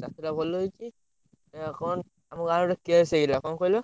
ଚାଷଟା ଭଲହେଇଛି ଏଇଆ କଣ? ଆମ ଗାଁ ଆଡେ ଗୋଟେ case ହେଇଗଲା କଣ କହିଲ?